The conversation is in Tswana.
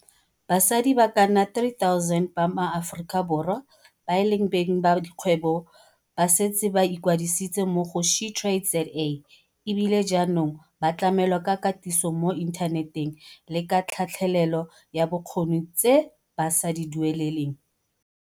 Basadi ba ka nna 3 000 ba maAforika Borwa ba e leng beng ba dikgwebo ba setse ba ikwadisitse mo go SheTradesZA e bile jaanong ba tlamelwa ka katiso mo inthaneteng le ka tlhatlhelelo ya bokgoni tse ba sa di dueleleng.